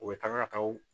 U bɛ taga o